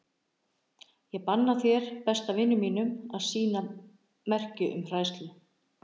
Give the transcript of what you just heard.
Ég banna þér, besta vini mínum, að sýna merki um hræðslu.